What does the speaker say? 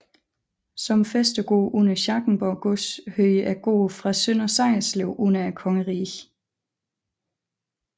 Som fæstegård under Schackenborg gods hørte gården fra Sønder Sejerslev under kongeriget